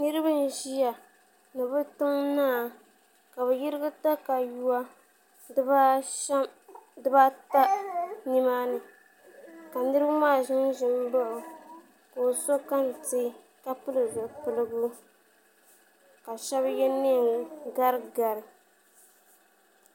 Niraba n ʒiya ni bi tiŋ naa ka bi yɛrigi katawiya dibaata nimaani ka niraba maa ʒinʒi n baɣa o ka o so kɛntɛ ka pili zipiligu ka shab yɛ neen gari gari